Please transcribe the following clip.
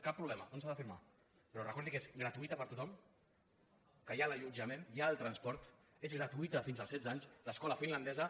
cap problema on s’ha de firmar però recordi que és gratuïta per a tothom que hi ha l’allotjament hi ha el transport és gratuïta fins als setze anys l’escola finlandesa